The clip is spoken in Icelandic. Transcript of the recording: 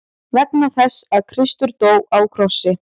Vegna þess að Kristur dó á krossi.